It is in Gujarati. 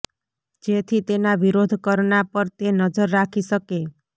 જેથી તેના વિરોધ કરના પર તે નજર રાખી શકે